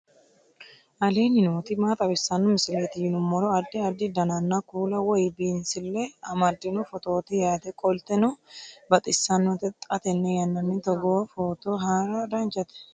aleenni nooti maa xawisanno misileeti yinummoro addi addi dananna kuula woy biinsille amaddino footooti yaate qoltenno baxissannote xa tenne yannanni togoo footo haara danchate